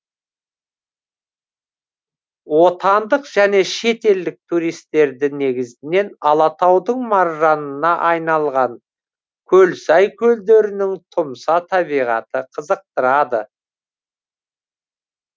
отандық және шетелдік туристерді негізінен алатаудың маржанына айналған көлсай көлдерінің тұмса табиғаты қызықтырады